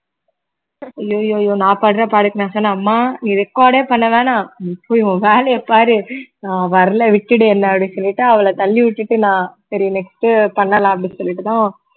அய்யய்யோ நான் படுற பாடுக்கு நான் சொன்னேன் அம்மா நீ record ஏ பண்ண வேணா நீ போய் உன் வேலைய பாரு நான் வரல விட்டுடு என்ன அப்படின்னு சொல்லிட்டு அவள தள்ளி விட்டுட்டு நான் சரி next பண்ணலாம் அப்படின்னு சொல்லிட்டு தான்